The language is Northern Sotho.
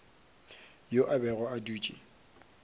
yo a bego a dutše